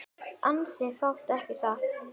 Ansi fátt ekki satt?